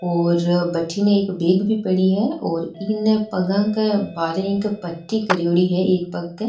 और भटीने एक बेग भी पड़ी है और इन् पगा के बारे एक पट्टी क्रेडी है एक पग क।